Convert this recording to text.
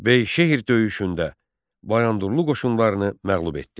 Beyşəhər döyüşündə Bayandurlu qoşunlarını məğlub etdi.